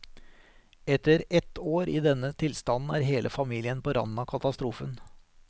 Etter ett år i denne tilstanden er hele familien på randen av katastrofen.